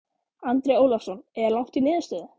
Andri Ólafsson: Er langt í niðurstöðu?